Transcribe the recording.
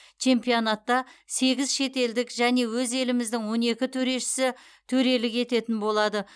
чемпионатта сегіз шетелдік және өз еліміздің он екі төрешісі төрелік ететін болады